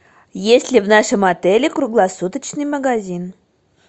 есть ли в нашем отеле круглосуточный магазин